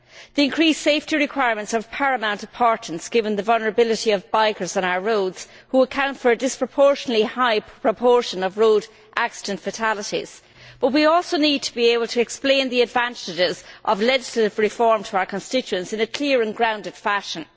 The increased safety requirements are of paramount importance given the vulnerability of bikers on our roads, who account for a disproportionately high proportion of road accident fatalities but we also need to be able to explain the advantages of legislative reform to our constituents in a clear and grounded fashion.